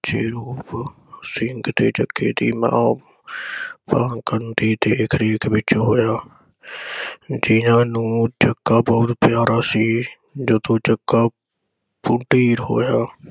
ਜਿਰੋਪ ਸਿੰਘ ਤੇ ਜੱਗੇ ਦੀ ਮਾਂ ਪਰਾਗਣ ਦੀ ਦੇਖ ਰੇਖ ਵਿਚ ਹੋਇਆ। ਕਈਆਂ ਨੂੰ ਜੱਗਾ ਬਹੁਤ ਪਿਆਰਾ ਸੀ ਜਦੋਂ ਜੱਗਾ ਹੋਇਆ